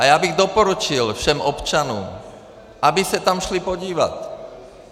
A já bych doporučil všem občanům, aby se tam šli podívat.